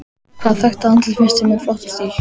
Hvaða þekkta andlit finnst þér með flottan stíl?